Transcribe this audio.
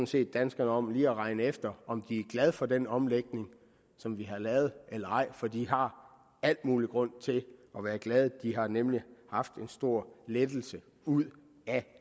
set danskerne om lige at regne efter om de er glade for den omlægning som vi har lavet eller ej for de har al mulig grund til at være glade de har nemlig haft en stor lettelse ud af